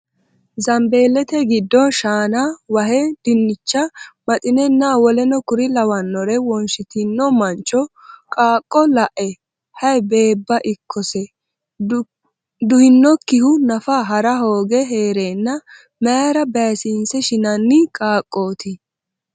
Zambeellete giddo shaana wahe dinnicha maxinenna w.k.l wonshitino mancho qaaqqo la’e Hay beebba ikkonsa! duhinokkihu nafa ha’ra hooge hee’reenna mayra baysiinse shinanni qaaqqooti?